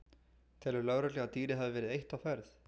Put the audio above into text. Telur lögregla að dýrið hafi verið eitt á ferð?